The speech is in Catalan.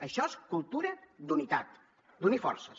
això és cultura d’unitat d’unir forces